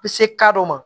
Be se dɔ ma